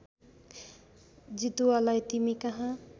जितुवालाई तिमी कहाँ